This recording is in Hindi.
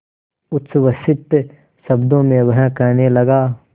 उच्छ्वसित शब्दों में वह कहने लगा